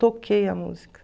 Toquei a música.